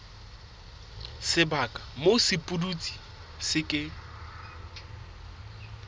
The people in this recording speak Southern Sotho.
sebaka moo sepudutsi se ke